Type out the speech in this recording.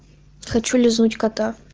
хочу лизнуть кота